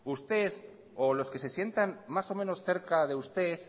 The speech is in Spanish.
usted o los que se sientan más o menos cerca de usted